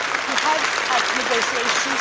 We have had negotiations.